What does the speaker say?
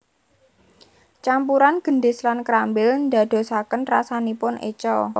Campuran gendis lan krambil ndadosaken rasanipun eca